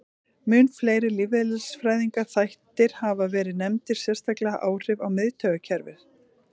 Mun fleiri lífeðlisfræðilegir þættir hafa verið nefndir, sérstaklega áhrif á miðtaugakerfið.